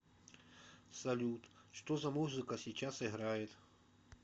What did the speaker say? салют что за музыка сейчас играет